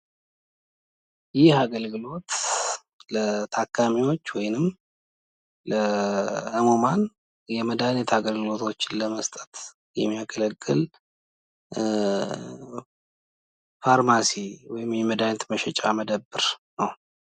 የጤና አገልግሎት በሽታዎችን መከላከልንና ማከምን የሚያካትት ሲሆን የዜጎችን ጤናማ ሕይወት ለማረጋገጥ ወሳኝ መሠረታዊ አገልግሎት ነው።